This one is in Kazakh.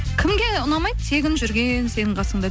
кімге ұнамайды тегін жүрген сенің қасыңда